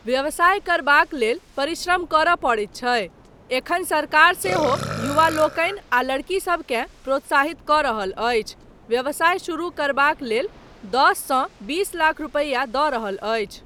व्यवसाय करबाक लेल परिश्रम करय पड़ैत छै, एखन सरकार सेहो युवा लोकनि आ लड़कीसबकेँ प्रोत्साहित कऽ रहल अछि, व्यवसाय शुरू करबाक लेल दस सँ बीस लाख रुपैया दऽ रहल अछि।